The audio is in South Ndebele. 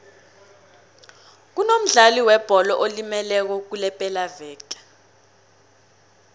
kunomdlali webholo olimeleko kulepelaveke